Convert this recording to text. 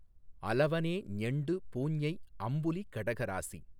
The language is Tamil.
அலவனே ஞெண்டு பூஞை அம்புலி கடகராசி